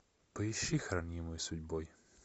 поищи хранимый судьбой